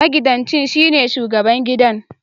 Magidanci shine shubagaban gida